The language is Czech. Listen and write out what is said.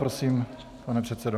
Prosím, pane předsedo.